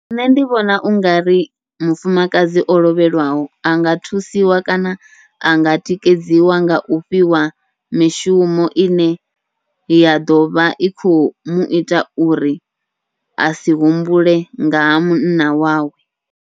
Nṋe ndi vhona ungari mufumakadzi o lovhelwaho, anga thusiwa kana anga tikedziwa ngau fhiwa mishumo ine ya ḓovha i khou muita uri asi humbule nga ha munna wawe.